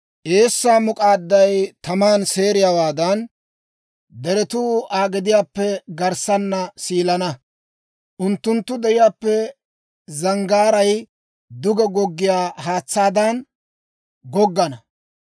Eessaa muk'aadday taman seeriyaawaadan, deretuu Aa gediyaappe garssana siilana; unttunttu deriyaappe zanggaaray duge goggiyaa haatsaadan goggana.